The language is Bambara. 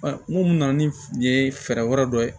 N ko mun na ni nin ye fɛɛrɛ wɛrɛ dɔ ye